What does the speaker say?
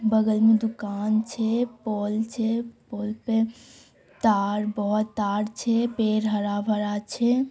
बगल में दुकान छे पोल छे पोल पे तार बहुत तार छे पेड़ हरा भरा छे।